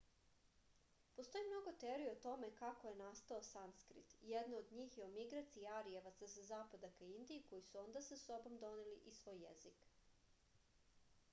postoji mnogo teorija o tome kako je nasatao sanskrit jedna od njih je o migraciji arijevaca sa zapada ka indiji koji su onda sa sobom doneli i svoj jezik